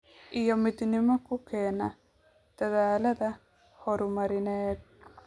iyo midnimo ku keena dadaallada horumarineed.